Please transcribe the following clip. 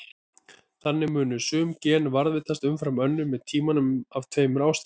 Þannig muni sum gen varðveitast umfram önnur með tímanum af tveimur ástæðum.